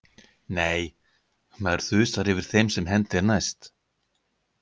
Nei, maður þusar yfir þeim sem hendi er næst.